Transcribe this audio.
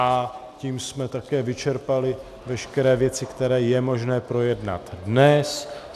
A tím jsme také vyčerpali veškeré věci, které je možné projednat dnes.